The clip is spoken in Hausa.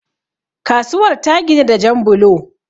kasuwar ta ginu da Jan bulo